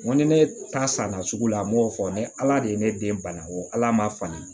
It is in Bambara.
N ko ni ne ta san na sugu la n m'o fɔ ni ala de ye ne den bana ko ala ma falen